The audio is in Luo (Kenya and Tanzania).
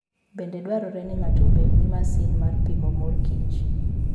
Bende dwarore ni ng'ato obed gi masin mar pimo mor kich.